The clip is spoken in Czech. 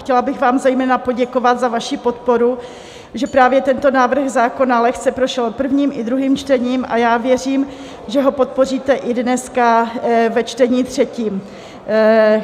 Chtěla bych vám zejména poděkovat za vaši podporu, že právě tento návrh zákona lehce prošel prvním i druhým čtením, a já věřím, že ho podpoříte i dneska ve čtení třetím.